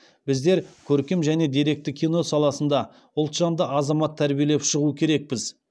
біздер көркем және деректі кино саласында ұлтжанды азамат тәрбиелеп шығу керекпіз